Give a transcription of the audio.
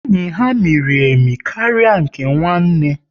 Enyi ha miri emi karịa nke nwanne